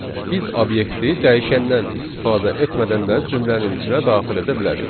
Biz obyekti dəyişəndən istifadə etmədən də cümlənin içinə daxil edə bilərik.